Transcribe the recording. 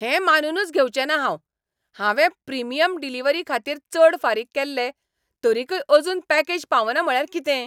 हें मानूनच घेवचेंना हांव! हांवें प्रिमियम डिलिव्हरीखातीर चड फारीक केल्ले, तरीकय अजून पॅकेज पावना म्हळ्यार कितें!